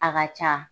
A ka ca